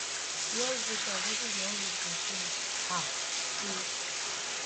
us voters also dey hungry for change um too